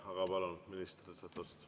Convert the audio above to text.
Aga palun, minister!